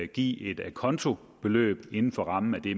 give et acontobeløb inden for rammen af det